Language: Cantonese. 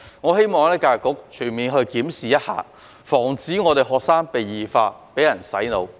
我希望教育局可以全面檢視，防止學生被異化，被人"洗腦"。